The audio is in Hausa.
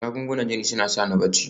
Magungunan jini suna sa ni barci